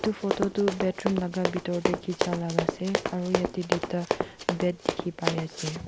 photo tu bedroom laga bitor te kicha laga ase aro yate duita bed dikhi pai ase.